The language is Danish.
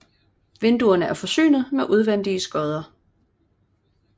Vinduerne er forsynet med udvendige skodder